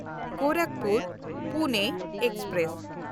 ᱜᱳᱨᱟᱠᱷᱯᱩᱨ–ᱯᱩᱱᱮ express